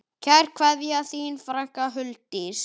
Kær kveðja, þín frænka Huldís.